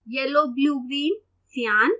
yellow blue green cyan